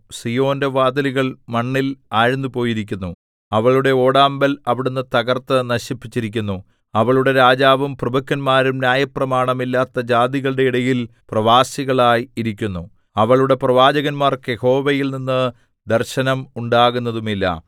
സീയോന്റെ വാതിലുകൾ മണ്ണിൽ ആഴ്ന്നുപോയിരിക്കുന്നു അവളുടെ ഓടാമ്പൽ അവിടുന്ന് തകർത്ത് നശിപ്പിച്ചിരിക്കുന്നു അവളുടെ രാജാവും പ്രഭുക്കന്മാരും ന്യായപ്രമാണം ഇല്ലാത്ത ജാതികളുടെ ഇടയിൽ പ്രവാസികളായി ഇരിക്കുന്നു അവളുടെ പ്രവാചകന്മാർക്ക് യഹോവയിൽനിന്ന് ദർശനം ഉണ്ടാകുന്നതുമില്ല